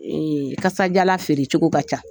kasadiyalan feere cogo ka ca.